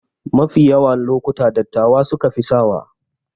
Mafi yawa lokuta dattawa sukafi sawa